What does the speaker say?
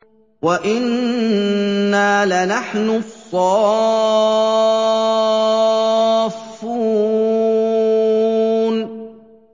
وَإِنَّا لَنَحْنُ الصَّافُّونَ